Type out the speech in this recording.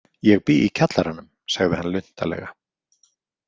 Ég bý í kjallaranum, sagði hann luntalega.